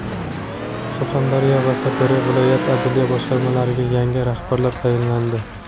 Surxondaryo va Sirdaryo viloyat adliya boshqarmalariga yangi rahbarlar tayinlandi.